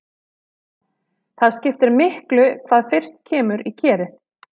Það skiptir miklu hvað fyrst kemur í kerið.